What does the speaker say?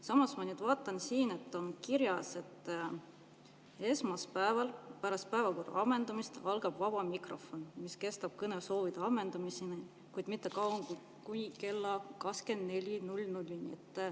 Samas ma vaatan, siin on kirjas, et esmaspäeval pärast päevakorra ammendumist algab vaba mikrofon, mis kestab kõnesoovide ammendumiseni, kuid mitte kauem kui kella 24.00-ni.